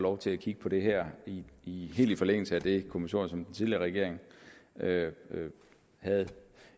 lov til at kigge på det her helt i i forlængelse af det kommissorium som den tidligere regering havde